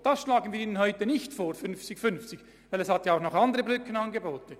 Das schlagen wir Ihnen heute nicht vor, denn es gibt auch noch andere Brückenangebote.